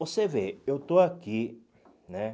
Você vê, eu estou aqui, né?